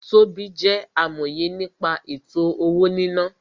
Tobí jẹ́ amòye nípa ètò-owó-níná